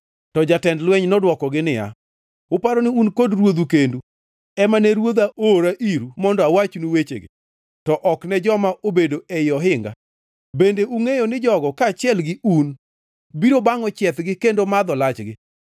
To jatend lweny nodwokogi niya, “Uparo ni un kod ruodhu kendu ema ne ruodha oora iru mondo awachnu wechegi, to ok ne joma obedo ei ohinga; bende ungʼeyo ni jogo kaachiel gi un biro bangʼo chiethgi kendo madho lachgi?”